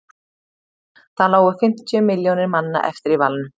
þá lágu fimmtíu milljónir manna eftir í valnum